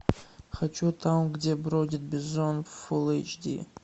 хочу там где бродит бизон фулл эйч ди